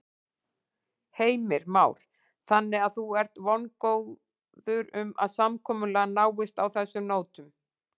Heimir Már: Þannig að þú ert vongóð um að samkomulag náist á þessum nótum?